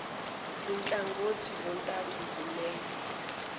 zinhlangothi zontathu zimelwe